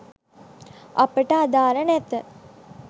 අපට අදාල නැත